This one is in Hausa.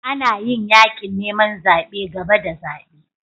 Ana yin yakin neman zabe gaba da zabe.